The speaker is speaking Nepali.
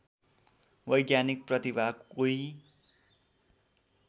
वैज्ञानिक प्रतिभा कोही